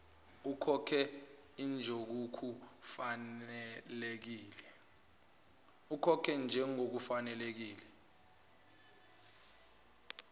ukhokhe njengoku fanelekile